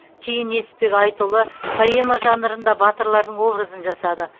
кейін несіпбек айтұлы поэма жанрында батырлардың образын жасады